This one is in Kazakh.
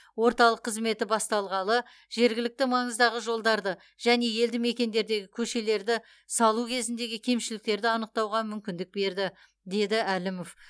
орталық қызметі басталғалы жергілікті маңыздағы жолдарды және елді мекендердегі көшелерді салу кезіндегі кемшіліктерді анықтауға мүмкіндік берді деді әлімов